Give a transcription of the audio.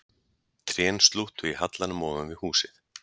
Trén slúttu í hallanum ofan við húsið